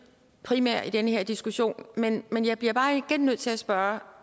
primære i den her diskussion men jeg bliver bare igen nødt til at spørge